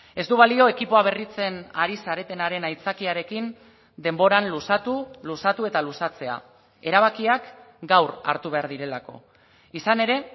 ez du balio ekipoa berritzen ari zaretenaren aitzakiarekin denboran luzatu luzatu eta luzatzea erabakiak gaur hartu behar direlako izan ere